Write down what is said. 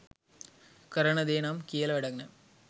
කරන දේ නම් කියල වැඩක් නෑ.